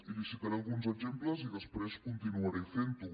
i li citaré alguns exemples i després continuaré fent ho